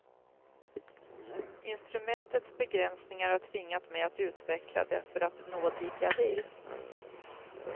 Instrumentets begränsningar har tvingat mig att utveckla det för att nå dit jag vill.